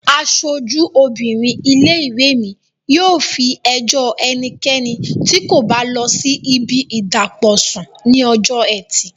Aṣojú obìnrin ilé-ìwé mi yóò fi ẹjọ́ ẹnikẹ́ni tí kò bá lọ sí ibi ìdàpọ̀ sùn ní ọjọ́ ẹtì